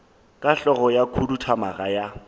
ka hlogo ya khuduthamaga ya